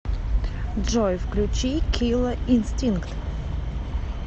джой включи килла инстинкт